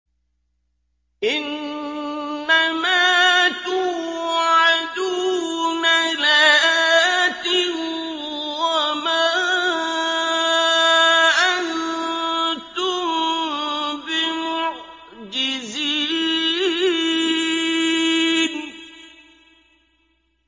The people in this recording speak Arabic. إِنَّ مَا تُوعَدُونَ لَآتٍ ۖ وَمَا أَنتُم بِمُعْجِزِينَ